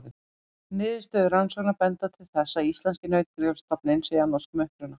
Niðurstöður rannsókna benda til þess að íslenski nautgripastofninn sé af norskum uppruna.